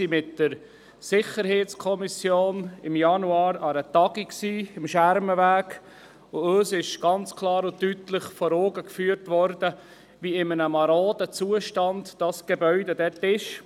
Die Sicherheitskommission nahm im Januar am Schermenweg an einer Tagung teil, und uns wurde klar und deutlich vor Augen geführt, in welch marodem Zustand sich das Gebäude dort befindet.